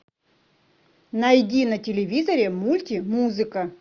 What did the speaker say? найди на телевизоре мульти музыка